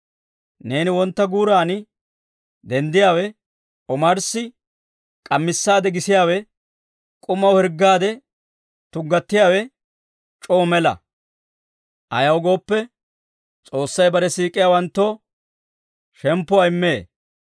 Neeni wontta guuran denddiyaawe, omarssi k'amissaade gisiyaawe, k'umaw hirggaade tuggatiyaawe c'oo mela; ayaw gooppe, S'oossay bare siik'iyaawanttoo shemppuwaa immee.